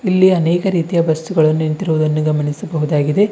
ಇಲ್ಲಿ ಅನೇಕ ರೀತಿಯ ಬಸ್ಸುಗಳು ನಿಂತಿರುವುದನ್ನು ಗಮನಿಸಬಹುದಾಗಿದೆ.